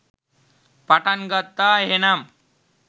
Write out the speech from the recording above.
පටන් ගත්තා එහෙනම්.